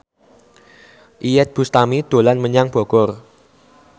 Iyeth Bustami dolan menyang Bogor